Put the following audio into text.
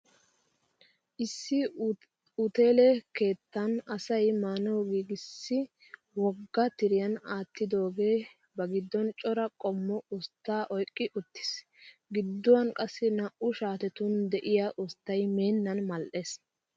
Issi uteele keettan asayi maanawu giigissi wogga tiriyan aattidogee bagiddon cora qommo usttaa oyiqqi uttis. Gidduwan qassi naa"u shaatetun diya usttay meennan mal'es.